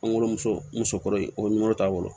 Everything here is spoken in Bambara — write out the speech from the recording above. An wolomuso musokɔrɔba in o bɛ nɔrɔ t'a bolo